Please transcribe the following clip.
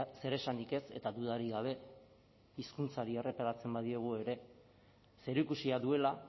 zeresanik ez eta dudarik gabe hizkuntzari erreparatzen badiogu ere zerikusia duela